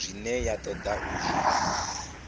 zwine ya toda u zwi